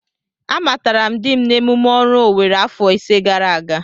Amatara m dim n'emume oru Owere afọ ise gara aga.